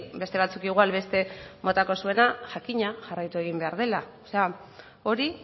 beste batzuek igual beste motako jakina jarraitu egin behar dela hori